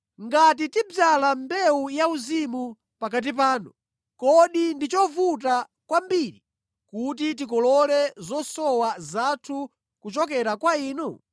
Ngati tidzala mbewu yauzimu pakati panu, kodi ndi chovuta kwambiri kuti tikolole zosowa zathu kuchokera kwa inu?